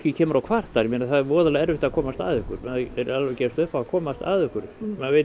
kemur og kvartar ég meina það er voðalega erfitt að komast að ykkur maður er alveg að gefast upp á að komast að ykkur maður veit